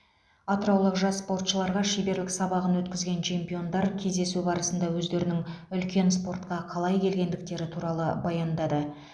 атыраулық жас спортшыларға шеберлік сабағын өткізген чемпиондар кездесу барысында өздерінің үлкен спортқа қалай келгендіктері туралы баяндады